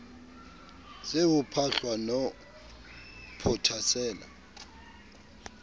se ho phahlwa ho phothasela